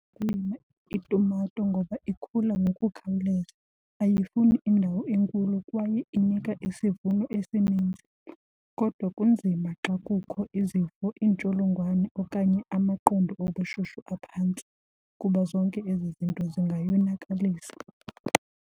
Ukulima itumato ngoba ikhula ngokukhawuleza, ayifuni indawo enkulu kwaye inika isivuno esininzi. Kodwa kunzima xa kukho izifo, iintsholongwane okanye amaqondo obushushu aphantsi kuba zonke ezi zinto zingayonakalisa.